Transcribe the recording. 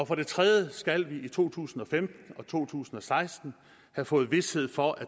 for det tredje skal vi i to tusind og femten og to tusind og seksten have fået vished for at